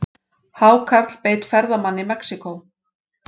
Hákarl beit ferðamann í Mexíkó